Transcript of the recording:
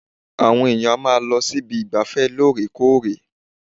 Àwọn èèyàn á máa lọ síbi ìgbafẹ́ lóòrèkóòrè